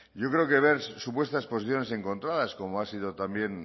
yo creo que ver supuestas posiciones encontradas como ha sido también